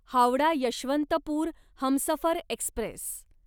Howrah Yesvantpur Humsafar Express